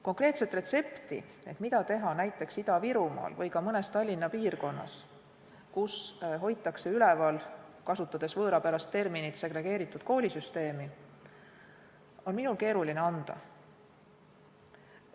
Konkreetset retsepti ehk mida teha näiteks Ida-Virumaal või mõnes Tallinna piirkonnas, kus hoitakse üleval nn segregeeritud koolisüsteemi, on minul keeruline anda.